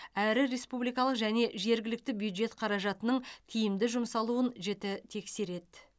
әрі республикалық және жергілікті бюджет қаражатының тиімді жұмсалуын жіті тексереді